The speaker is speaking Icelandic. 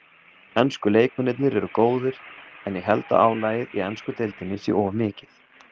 Ensku leikmennirnir eru góðir en ég held að álagið í ensku deildinni sé of mikið.